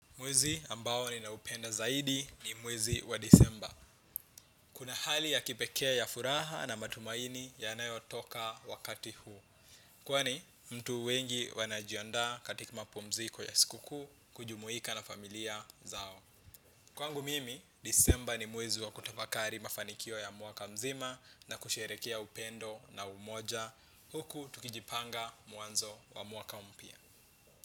Mwezi ambao ni na upenda zaidi ni mwezi wa disemba. Kuna hali ya kipekee ya furaha na matumaini ya nayo toka wakati huu. Kwani, mtu wengi wanajianda katika mapumziko ya sikuku, kujumuika na familia zao. Kwangu mimi, disemba ni mwezi wa kutapakari mafanikio ya mwaka mzima na kusherekea upendo na umoja. Huku tukijipanga mwanzo wa mwaka mpya.